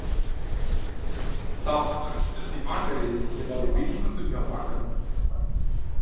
Það var örstutt í bakaríið, sem var í bílskúrnum hjá bakaranum.